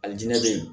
Alijinɛ be yen